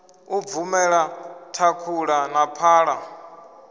u bvumela thakhula na phala